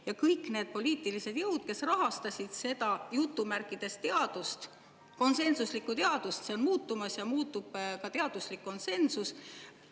Ja kõik need poliitilised jõud, kes rahastasid seda "teadust", konsensuslikku "teadust", on muutumas ja muutub ka teaduslik konsensus.